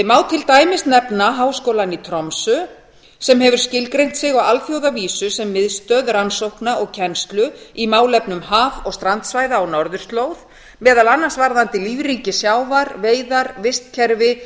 má til dæmis nefna háskólann í tromsö sem hefur skilgreint sig á alþjóðavísu sem miðstöð rannsókna og kennslu í málefnum haf og strandsvæða á norðurslóð meðal annars varðandi lífríki sjávar veiðar vistkerfi